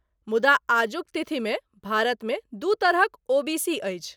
मुदा आजुक तिथि मे भारतमे दू तरहक ओबीसी अछि।